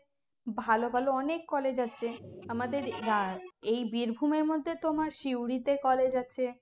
ভালো ভালো অনেক college আছে আমাদের এই বীরভূমের মধ্যে তোমার সিউড়িতে college আছে